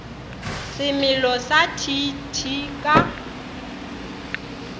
semelo sa t t ka